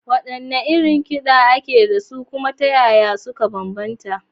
Waɗanne irin kiɗa ne ake da su, kuma ta yaya suka bambanta?